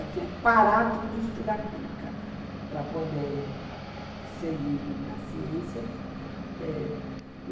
Eu tinha que parar tudo e estudar química para poder seguir na ciência.